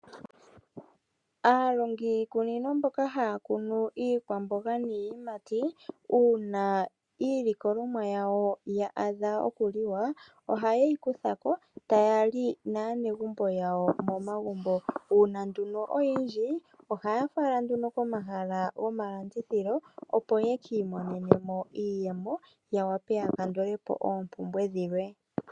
Aalongi yiikunino mboka haya kunu iikwamboga niiyimati uuna iilikolomwa yawo ya adha okuliwa oha ye yi kuthako taya li naanegumbo yawo momagumbo, uuna nduno oyindji ohaya fala nduno komahala gomalandithilo opo yekiimonenemo iiyemo yawape yakandule po oompumbwe dhilwe.